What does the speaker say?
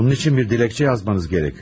Bunun üçün bir diləkçə yazmanız gerekiyor.